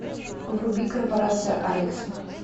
вруби корпорация алекса